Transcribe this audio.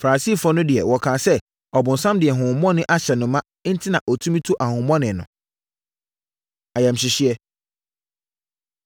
Farisifoɔ no deɛ, wɔkaa sɛ, “Ɔbonsam de honhommɔne ahyɛ no ma enti na ɔtumi tu ahonhommɔne no.” Ayamhyehyeɛ